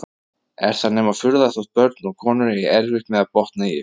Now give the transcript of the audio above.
Er það nema furða þótt börn og konur eigi erfitt með að botna í ykkur!